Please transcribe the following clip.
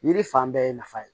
Yiri fan bɛɛ ye nafa ye